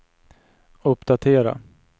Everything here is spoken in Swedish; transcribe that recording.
uppdatera